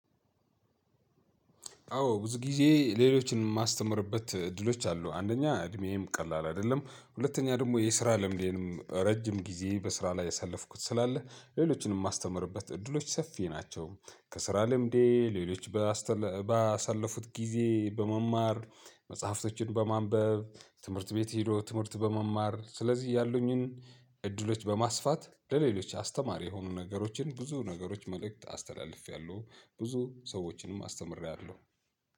አዎ ብዙ ጊዜ ሌሎችን ማስተምርበት ዕድሎች አሉ፤ አንደኛ እድሜዬም ቀላል አይደለም፤ ሁለተኛ ደግሞ የስራ ልምዴንም ረጅም ጊዜ በስራ ላር ያሳለፍኩት ስላለ ሌሎችን ማስተምርበት እድል ሰፊ ነው። ከስራ ልምዴ፤ ሌሎች ባሳለፉት ጊዜ በመማር፤ መጻህፍቶችን በማንበብ፤ ትምህርት ቤት ሄዶ ትምህርት በመማር፤ ስለዚህ ያሉኝን እድሎች በማስፋት፤ ለሌሎች አስተማሪ የሆኑ ነገሮችን ብዙ ነገሮች መልእክት አስተላልፈያለው። ብዙ ሰዎችንም አስተምረያለው።